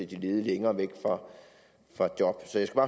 de ledige længere væk fra job så jeg skal